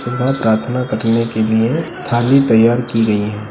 सुबह प्रार्थना करने के लिए थाली तैयार की गई है।